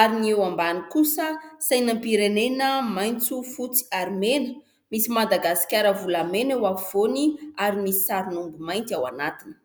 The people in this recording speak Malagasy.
ary ny eo ambany kosa sainam-pirenena ( maitso, fotsy, ary mena) ; misy Madagasikara volamena eo afovoany ary misy sarin'omby mainty ao anatiny.